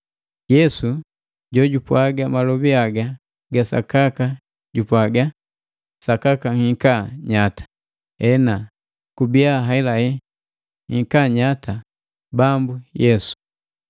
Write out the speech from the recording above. Yesu jo jupwaga malobi haga ga sakaka jupwaga. Sakaka nhika nyata. Ena, kubia haelahela. Nhika nyata, Bambu Yesu.